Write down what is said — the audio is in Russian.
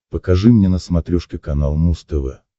покажи мне на смотрешке канал муз тв